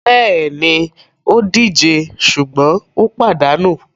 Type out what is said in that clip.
Bẹ́ẹ̀ni, ó díje sùgbọ́n ó pàdánù.